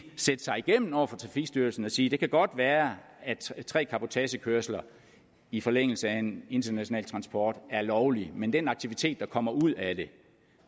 sætte sig igennem over for trafikstyrelsen og sige det kan godt være at tre cabotagekørsler i forlængelse af en international transport er lovligt men den aktivitet der kommer ud af det